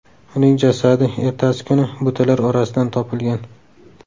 Uning jasadi ertasi kuni butalar orasidan topilgan.